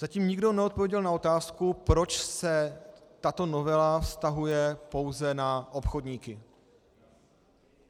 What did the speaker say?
Zatím nikdo neodpověděl na otázku, proč se tato novela vztahuje pouze na obchodníky.